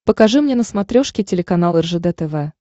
покажи мне на смотрешке телеканал ржд тв